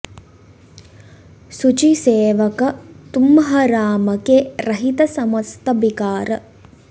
सुचि सेवक तुम्ह राम के रहित समस्त बिकार